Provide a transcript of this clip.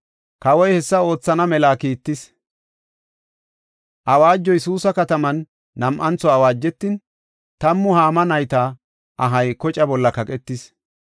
Kawoy hessa oothana mela kiittis. Awaajoy Suusa kataman nam7antho awaajetin, tammu Haama nayta ahay kocaa bolla kaqetis.